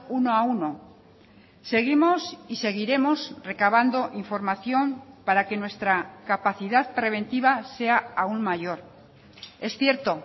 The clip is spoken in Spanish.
uno a uno seguimos y seguiremos recabando información para que nuestra capacidad preventiva sea aún mayor es cierto